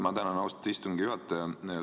Ma tänan, austatud istungi juhataja!